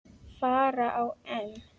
fara á EM.